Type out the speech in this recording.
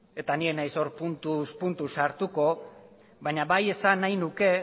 eta ni ez naiz hor puntuz puntu sartuko baina bai esan nahi nuke